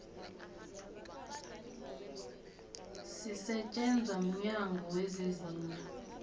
sisetjenzwa mnyango wezezindlu